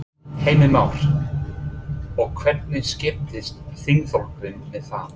Heimir Már: Og hvernig skiptist þingflokkurinn með það?